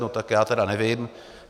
No tak já tedy nevím.